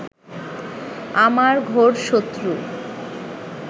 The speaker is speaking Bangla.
আমার ঘোর শত্রু